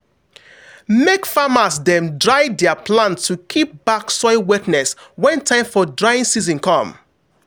make farmers dem dry their plants to keep back soil wetness when time for drying season come.